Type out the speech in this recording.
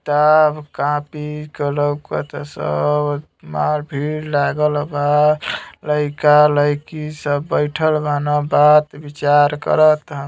ताभ कापी कलौ कत सव मार भीड़ लागल बा। लइका लइकी सब बइठल बान बात विचार कर ता --